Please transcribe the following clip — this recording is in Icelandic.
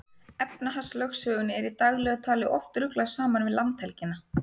Efnahagslögsögunni er í daglegu tali oft ruglað saman við landhelgina.